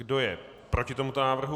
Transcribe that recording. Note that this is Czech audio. Kdo je proti tomuto návrhu?